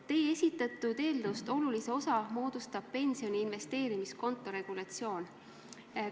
Teie esitatud eelnõust olulise osa moodustab pensioni investeerimiskonto regulatsioon.